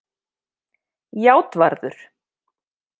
Játvarður